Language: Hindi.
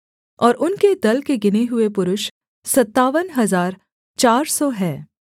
और उनके दल के गिने हुए पुरुष सत्तावन हजार चार सौ हैं